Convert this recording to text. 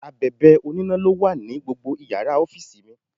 Abèbè oníná ló wà ní gbogbo Ìyàrá ọ́fíìsì mi.